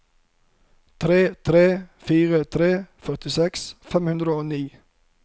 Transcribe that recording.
tre tre fire tre førtiseks fem hundre og ni